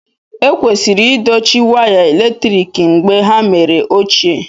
Ekwesịrị idochie waya eletrik mgbe ha mere ochie